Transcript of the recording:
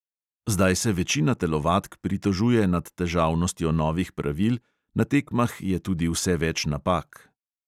Zdaj se večina telovadk pritožuje nad težavnostjo novih pravil, na tekmah je tudi vse več napak.